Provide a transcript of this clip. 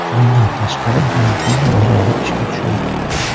Bundan tashqari, Yangi yil bozori ishga tushadi.